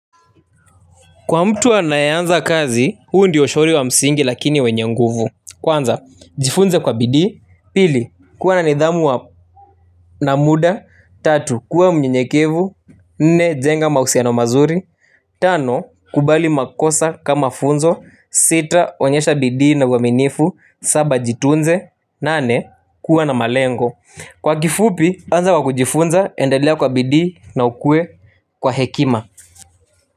Kwa mtu anayeanza kazi, huu ndio ushauri wa msingi lakini wenye nguvu. Kwanza, jifunze kwa bidii. Pili, kuwa na nidhamu na muda. Tatu, kuwa mnyenyekevu. Nne, jenga mahusiano mazuri. Tano, kubali makosa kama funzo. Sita, onyesha bidii na uaminifu. Saba, jitunze. Nane, kuwa na malengo. Kwa kifupi, anza kwa kujifunza, endelea kwa bidii na ukuwe kwa hekima.